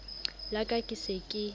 la ka ke se ke